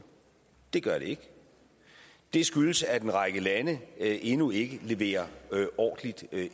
det gør det ikke det skyldes at en række lande endnu ikke leverer ordentligt og det